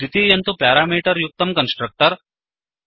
द्वितीयं तु प्यारामीटर् युक्तं कन्स्ट्रक्टर्